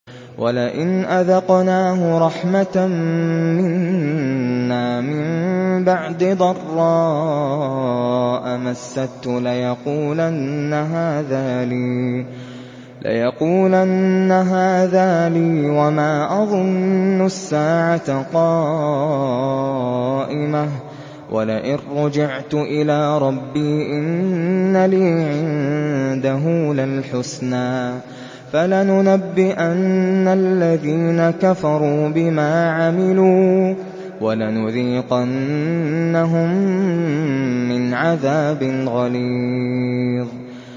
وَلَئِنْ أَذَقْنَاهُ رَحْمَةً مِّنَّا مِن بَعْدِ ضَرَّاءَ مَسَّتْهُ لَيَقُولَنَّ هَٰذَا لِي وَمَا أَظُنُّ السَّاعَةَ قَائِمَةً وَلَئِن رُّجِعْتُ إِلَىٰ رَبِّي إِنَّ لِي عِندَهُ لَلْحُسْنَىٰ ۚ فَلَنُنَبِّئَنَّ الَّذِينَ كَفَرُوا بِمَا عَمِلُوا وَلَنُذِيقَنَّهُم مِّنْ عَذَابٍ غَلِيظٍ